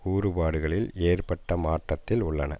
கூறுபாடுகளில் ஏற்பட்ட மாற்றத்தில் உள்ளன